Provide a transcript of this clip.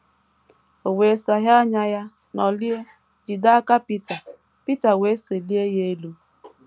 O wee saghee anya ya, nọlie, jide aka Pita, Pita wee selie ya elu.